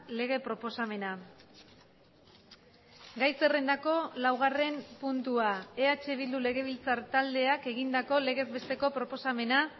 lege proposamena gai zerrendako laugarren puntua eh bildu legebiltzar taldeak egindako legez besteko proposamena